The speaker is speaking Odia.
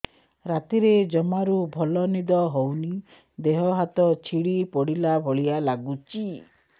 ରାତିରେ ଜମାରୁ ଭଲ ନିଦ ହଉନି ଦେହ ହାତ ଛିଡି ପଡିଲା ଭଳିଆ ଲାଗୁଚି